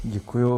Děkuji.